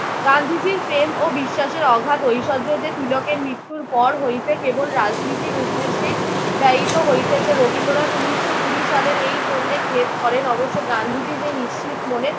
গান্ধীজির প্রেম ও বিশ্বাসের অগাধ ঐশ্বর্য যে তীলকের মৃত্যুর পর হইতে কেবল রাজনীতির উদ্দেশ্যেই ব্যয়িত হইতেছে রবীন্দ্রনাথ উনিশশো কুড়ি সালে এই জন্য খেদ করেন। অবশ্য গান্ধীজি যে নিশ্চিত মনে